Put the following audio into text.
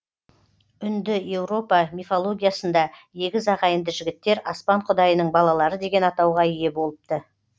үндіеуропа мифологиясында егіз ағайынды жігіттер аспан құдайының балалары деген атауға ие болыпты